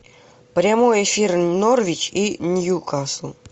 прямой эфир норвич и ньюкасл